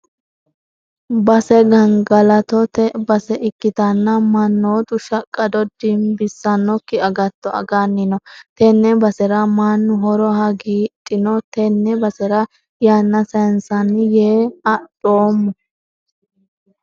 Base gangalattote base ikkittanna mannotu shaqqado dimbissanokki agatto aganni no tene basera mannu horo hagiidhino tene basera yanna saysansanni yee adhoommo.